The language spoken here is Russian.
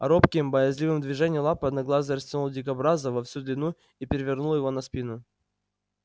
робким боязливым движением лапы одноглазый растянул дикобраза во всю длину и перевернул его на спину